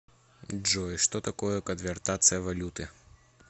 джой что такое конвертация валюты